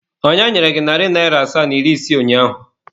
Onye nyere gị narị naira asaa na iri isii ụnyaahụ?